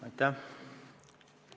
Aitäh!